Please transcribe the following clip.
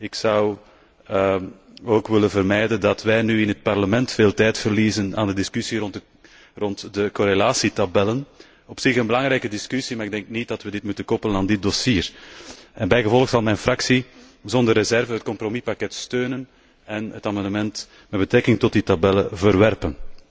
Ik wil vermijden dat wij nu in het Parlement veel tijd verliezen aan de discussie rond de correlatietabellen. Dit is op zich een belangrijke discussie, maar ik denk niet dat we dit moeten koppelen aan dit dossier. Bijgevolg zal mijn fractie zonder reserve het compromispakket steunen en het amendement met betrekking tot die tabellen verwerpen,